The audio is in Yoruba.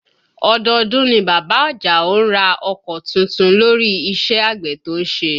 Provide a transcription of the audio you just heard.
Ọdọọdún ni bàbá Àjàó ń ra ọkọ tuntun lórí iṣẹ́ àgbẹ̀ tó ń ṣe